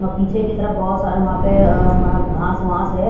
और पीछे की तरफ बहुत सारे वहां पे अह घास वांस है।